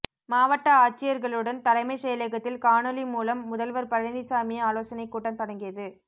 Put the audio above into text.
மாவட்ட ஆட்சியர்களுடன் தலைமைச் செயலகத்தில் காணொலி மூலம் முதல்வர் பழனிசாமி ஆலோசனை கூட்டம் தொடங்கியது